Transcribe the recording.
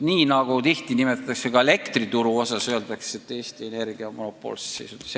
Samamoodi öeldakse tihti ka elektriturust rääkides, et Eesti Energia on monopoolses seisundis.